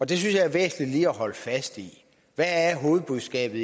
det synes jeg er væsentligt lige at holde fast i hvad er hovedbudskabet